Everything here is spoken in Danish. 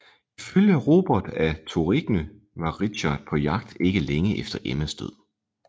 Ifølge Robert af Torigny var Richard på jagt ikke længe efter Emmas død